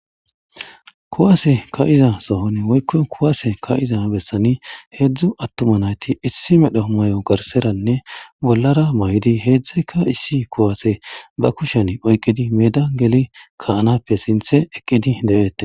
kuwase ka'iza sohoni woykko kuwase ka'iza bessani hedzdzu attuma nayti issi medho mayo garseranne bollara mayidi hedzdzatika issi kuwaase ba kushen oyqqidi meeda geli ka'anappe sinthe eqqidi de'eette